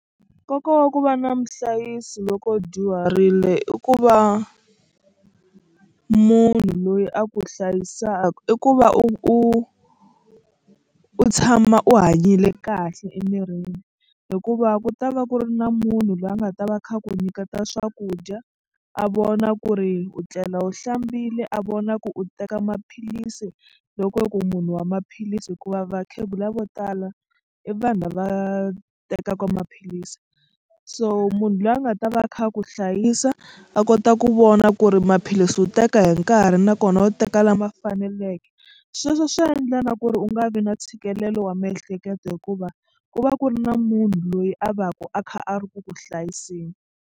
Nkoka wa ku va na muhlayisi loko u dyuharile i ku va munhu loyi a ku hlayisaka i ku va u u u tshama u hanyile kahle emirini hikuva ku ta va ku ri na munhu loyi a nga ta va a kha ku nyiketa swakudya a vona ku ri u tlela wu hlambile a vona ku u teka maphilisi loko ku munhu wa maphilisi hikuva vakhegula vo tala i vanhu lava tekaka maphilisi so munhu loyi a nga ta va a kha a ku hlayisa a kota ku vona ku ri maphilisi u teka hi nkarhi nakona u teka lama faneleke sweswo swi endla na ku ri u nga vi na ntshikelelo wa miehleketo hikuva ku va ku ri na munhu loyi a va ka a kha a ri ku ku hlayiseni.